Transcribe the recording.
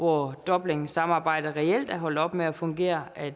hvor dublinsamarbejdet reelt er holdt op med at fungere at